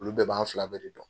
Olu bɛɛ b'an fila bɛɛ de dɔn.